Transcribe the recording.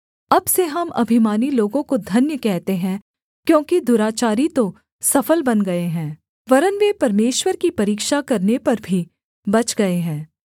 अब से हम अभिमानी लोगों को धन्य कहते हैं क्योंकि दुराचारी तो सफल बन गए हैं वरन् वे परमेश्वर की परीक्षा करने पर भी बच गए हैं